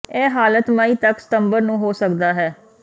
ਇਹ ਹਾਲਤ ਮਈ ਤੱਕ ਸਤੰਬਰ ਨੂੰ ਹੋ ਸਕਦਾ ਹੈ